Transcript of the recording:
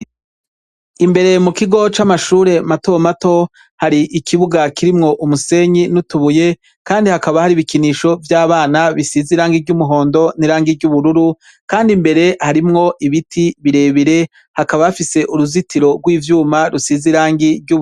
Imbere mu kigo c'amashure mato mato, hari ikibuga kirimwo umusenyi n'utubuye, kandi hakaba hari ibikinisho vy'abana bisize irangi ry'umuhondo n'irangi ry'ubururu, kandi imbere hakaba hari ibiti birebire, hakaba hafise uruzitiro rw'ivyuma rusize irangi ry'ubururu.